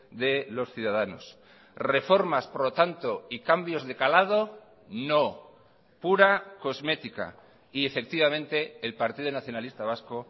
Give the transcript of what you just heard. de los ciudadanos reformas por lo tanto y cambios de calado no pura cosmética y efectivamente el partido nacionalista vasco